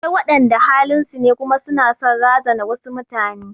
Akwai waɗanda halin su ne kuma su na son razana wasu mutane.